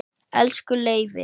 Elsku Leifi.